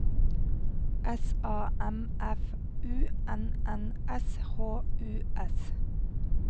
S A M F U N N S H U S